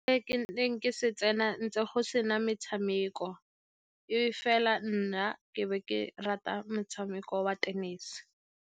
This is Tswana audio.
Se ke neng ke se tsena ntse go sena metšhameko, e fela nna ke be ke rata motshameko wa tenese.